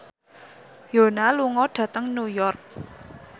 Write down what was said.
Yoona lunga dhateng New York